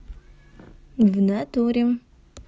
в натуре